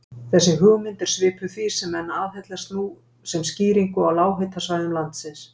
Þessi hugmynd er svipuð því sem menn aðhyllast nú sem skýringu á lághitasvæðum landsins.